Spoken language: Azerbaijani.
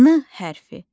N hərfi.